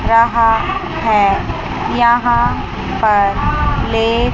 रहा है यहां पर ले--